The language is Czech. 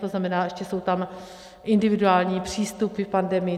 To znamená, ještě jsou tam individuální přístupy v pandemii.